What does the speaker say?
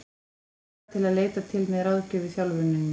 Hefurðu marga til að leita til með ráðgjöf í þjálfuninni?